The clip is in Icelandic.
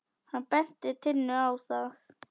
Hann benti Tinnu á það.